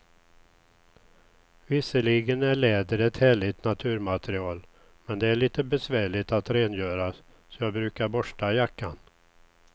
Visserligen är läder ett härligt naturmaterial, men det är lite besvärligt att rengöra, så jag brukar borsta jackan.